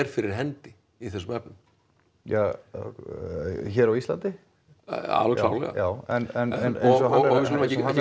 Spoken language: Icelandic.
fyrir hendi í þessum efnum ja hér á Íslandi alveg klárlega já en við skulum ekki